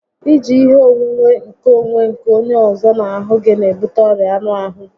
I ji ihe onwunwe nkeonwe nke onye ọzọ n'ahụ gị n'ebute ọrịa anụ ahụ